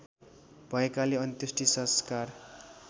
भएकाले अन्त्येष्टि संस्कार